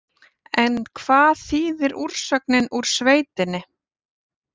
En hvað þýðir úrsögnin úr sveitinni?